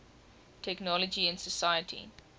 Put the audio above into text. technology in society